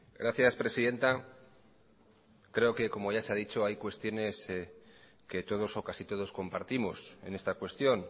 gracias presidenta creo que como ya se ha dicho hay cuestiones que todos o casi todos compartimos en esta cuestión